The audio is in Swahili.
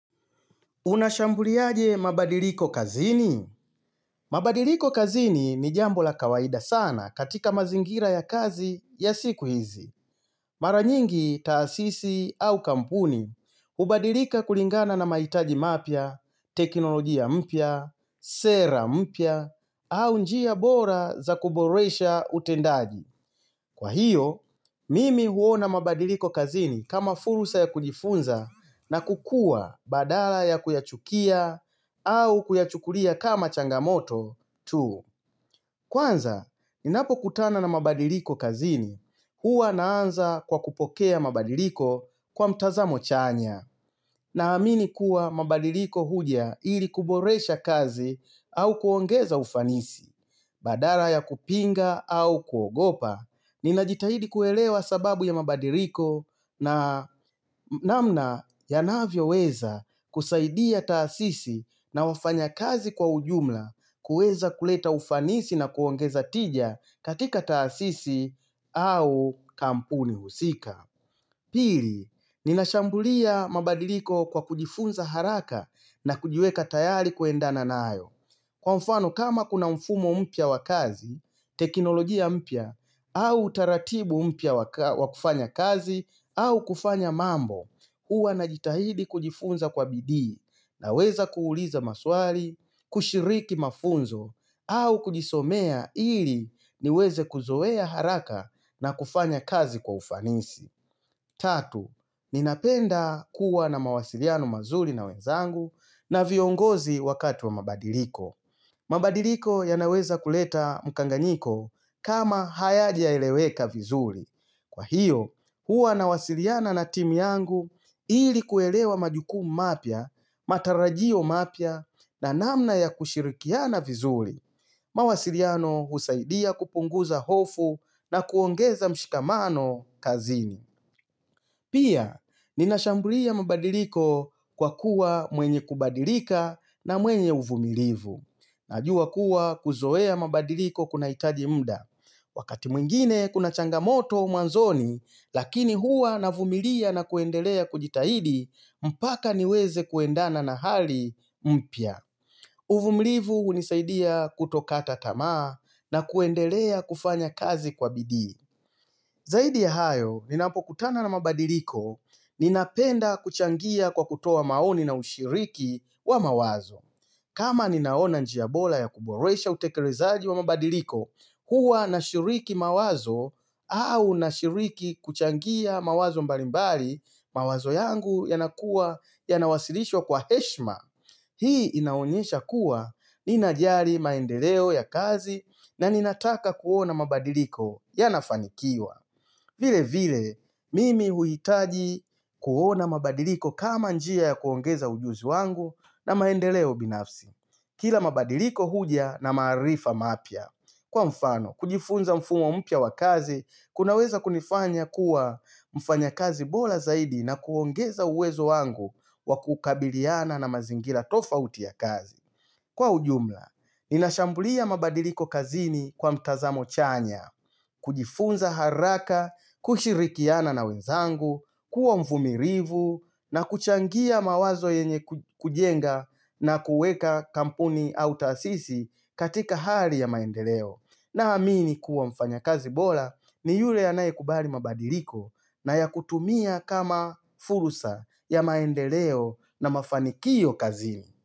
Unashambuliaje mabadiliko kazini? Mabadiliko kazini ni jambo la kawaida sana katika mazingira ya kazi ya siku hizi. Mara nyingi taasisi au kampuni, hubadilika kulingana na mahitaji mapya, teknolojia mpya, sera mpya, au njia bora za kuboresha utendaji. Kwa hiyo, mimi huona mabadiliko kazini kama fursa ya kujifunza na kukua badala ya kuyachukia au kuyachukulia kama changamoto tu. Kwanza, ninapokutana na mabadiliko kazini, huwa naanza kwa kupokea mabadiliko kwa mtazamo chanya, naamini kuwa mabadiliko huja ili kuboresha kazi au kuongeza ufanisi, badala ya kupinga au kuogopa. Ninajitahidi kuelewa sababu ya mabadiliko na namna yanavyoweza kusaidia taasisi na wafanyakazi kwa ujumla kuweza kuleta ufanisi na kuongeza tija katika taasisi au kampuni husika Pili, ninashambulia mabadiliko kwa kujifunza haraka na kujiweka tayari kuendana nayo Kwa mfano kama kuna mfumo mpya wa kazi, teknolojia mpya, au utaratibu mpya wa kufanya kazi, au kufanya mambo, huwa najitahidi kujifunza kwa bidii naweza kuuliza maswali, kushiriki mafunzo, au kujisomea ili niweze kuzoea haraka na kufanya kazi kwa ufanisi. Tatu, ninapenda kuwa na mawasiliano mazuri na wenzangu na viongozi wakati wa mabadiliko. Mabadiliko yanaweza kuleta mkanganyiko kama hayajaeleweka vizuri. Kwa hiyo, huwa nawasiliana na timu yangu ili kuelewa majukumu mapya, matarajio mapya na namna ya kushirikiana vizuri. Mawasiliano husaidia kupunguza hofu na kuongeza mshikamano kazini. Pia, ninashambulia mabadiliko kwa kuwa mwenye kubadilika na mwenye uvumilivu. Najua kuwa kuzoea mabadiliko kunahitaji muda. Wakati mwingine kuna changamoto mwanzoni, lakini huwa navumilia na kuendelea kujitahidi, mpaka niweze kuendana na hali mpya. Uvumilivu hunisaidia kutokata tamaa na kuendelea kufanya kazi kwa bidii. Zaidi ya hayo, ninapokutana na mabadiliko, ninapenda kuchangia kwa kutoa maoni na ushiriki wa mawazo. Kama ninaona njia bora ya kuboresha utekelezaji wa mabadiliko, huwa nashiriki mawazo au nashiriki kuchangia mawazo mbalimbali, mawazo yangu yanakuwa yanawasilishwa kwa heshima. Hii inaonyesha kuwa ninajali maendeleo ya kazi na ninataka kuona mabadiliko yanafanikiwa. Vile vile, mimi huhitaji kuona mabadiliko kama njia ya kuongeza ujuzi wangu na maendeleo binafsi. Kila mabadiliko huja na maarifa mapya. Kwa mfano, kujifunza mfumo mpya wa kazi, kunaweza kunifanya kuwa mfanya kazi bora zaidi na kuongeza uwezo wangu wa kukabiliana na mazingira tofauti ya kazi. Kwa ujumla, ninashambulia mabadiliko kazini kwa mtazamo chanya, kujifunza haraka, kushirikiana na wenzangu, kuwa mvumilivu, na kuchangia mawazo yenye kujenga na kuweka kampuni au taasisi katika hali ya maendeleo. Naamini kuwa mfanyakazi bora ni yule anayekubali mabadiliko na ya kutumia kama fursa ya maendeleo na mafanikio kazini.